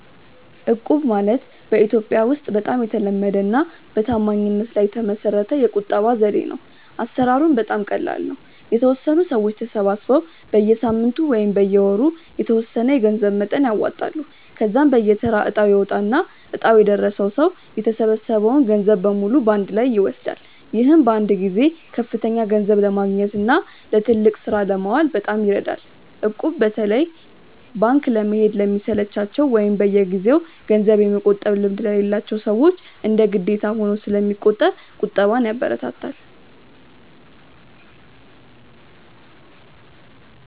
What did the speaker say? እቁብ ማለት በኢትዮጵያ ውስጥ በጣም የተለመደና በታማኝነት ላይ የተመሰረተ የቁጠባ ዘዴ ነው። አሰራሩም በጣም ቀላል ነው፤ የተወሰኑ ሰዎች ተሰባስበው በየሳምንቱ ወይም በየወሩ የተወሰነ የገንዘብ መጠን ያዋጣሉ። ከዚያም በየተራ እጣ ይወጣና እጣው የደረሰው ሰው የተሰበሰበውን ገንዘብ በሙሉ በአንድ ላይ ይወስዳል። ይህም በአንድ ጊዜ ከፍተኛ ገንዘብ ለማግኘትና ለትልቅ ስራ ለማዋል በጣም ይረዳል። እቁብ በተለይ ባንክ ለመሄድ ለሚሰለቻቸው ወይም በየጊዜው ገንዘብ የመቆጠብ ልምድ ለሌላቸው ሰዎች እንደ ግዴታ ሆኖ ስለሚቆጥር ቁጠባን ያበረታታል።